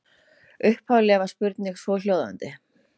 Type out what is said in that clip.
Upphafleg spurning var svohljóðandi: